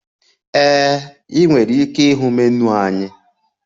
Ee, ị nwere ike ịhụ menu anyị.